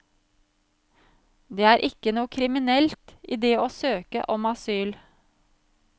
Det er ikke noe kriminelt i det å søke om asyl.